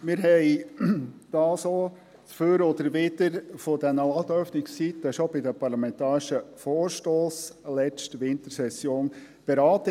Wir haben das Dafür und Dawider bei den Ladenöffnungszeiten bereits beim parlamentarischen Vorstoss in der letzten Wintersession beraten.